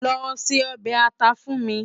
Lò sé òbè átà fún mi